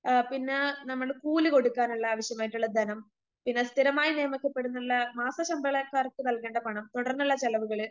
ആ പിന്നേ നമ്മള് കൂലികൊടുക്കാനുള്ള ആവശ്യമായിട്ടുള്ള ധനം, പിന്നെ സ്ഥിരമായി നിയമിക്കപ്പെടുന്നുള്ള മാസശമ്പളക്കാർക്ക് നൽകേണ്ട പണം തുടർന്നുള്ള ചെലവുകള്